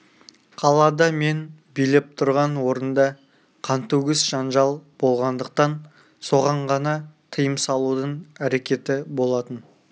қалада мен билеп тұрған орында қантөгіс жанжал болғандықтан соған ғана тыйым салудың әрекеті болатын